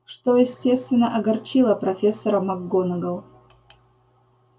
что естественно огорчило профессора макгонагалл